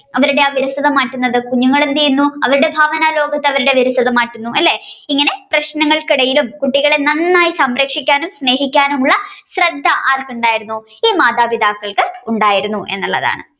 അവരുടെ ആ വിരസത മാറ്റുന്നത് കുഞ്ഞുങ്ങൾ എന്തെയുന്നു അവരുടെ ഭാവനാലോകത് അവരുടെ വിരസത മാറ്റുന്നു അല്ലെ ഇങ്ങനെ പ്രശ്നങ്ങൾക്ക് ഇടയിലും കുട്ടികളെ നന്നായി സംരക്ഷിക്കാനും സ്നേഹിക്കാനുമുള്ള ശ്രദ്ധ ആർക്കുണ്ടായിരുന്നു ഈ മാതാപിതാക്കൾക്ക് ഉണ്ടായിരുന്നു.